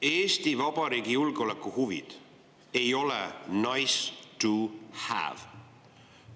Eesti Vabariigi julgeolekuhuvid ei ole nice to have.